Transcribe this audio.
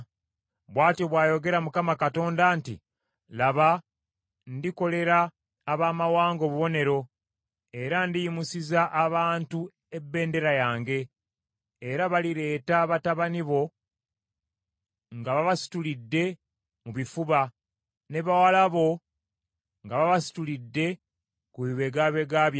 Bw’atyo bw’ayogera Mukama Katonda nti, “Laba, ndikolera abamawanga obubonero era ndiyimusiza abantu ebbendera yange: era balireeta batabani bo nga babasitulidde mu bifuba ne bawala bo nga babasitulidde ku bibegabega byabwe.